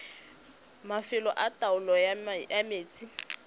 mafelo a taolo ya metsi